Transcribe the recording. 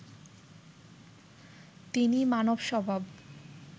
তিনি মানব স্বভাব